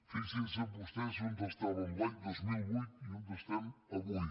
fixin se vostès on estàvem l’any dos mil vuit i on estem avui